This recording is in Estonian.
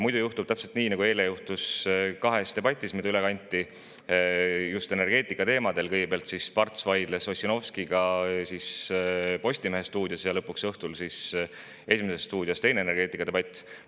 Muidu juhtub täpselt nii, nagu juhtus eile kahes debatis energeetikateemadel: kõigepealt vaidles Parts Ossinovskiga Postimehe stuudios ja õhtul oli "Esimeses stuudios" teine energeetikadebatt.